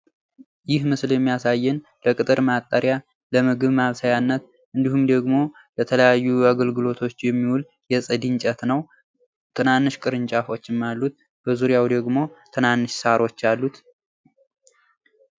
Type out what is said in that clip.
ይህ ምስል የሚያሳዬን ለቅጥር መጠርያ ለምግብ ማብሰያነት እንዲሁም ደግሞ ለተለያዩ አገልግሎቶች የሚውል የፅድ እንጨት ነው። ትናንሽ ቅርንጫፎችም አሉት በዙርያው ደግሞ ትናንሽ ሳሮች አሉት።